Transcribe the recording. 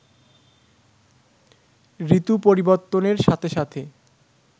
ঋতু পরিবর্তনের সাথে সাথে